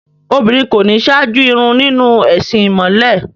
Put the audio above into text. Obìnrin kò ní ṣáájú ìrun nínú ẹ̀sìn ìmọ̀le.